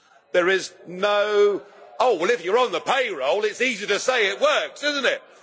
There is no, oh well if you're on the payroll it's easy to say it works, isn't it?